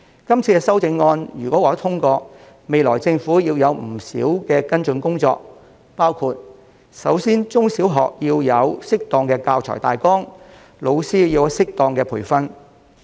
是次修訂如獲得通過，政府日後須進行不少跟進工作，包括首先要為中小學提供適當的教材大綱，為老師提供適當的培訓。